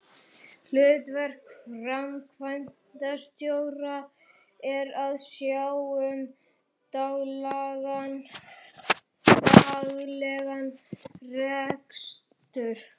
Hlutverk framkvæmdastjóra er að sjá um daglegan rekstur.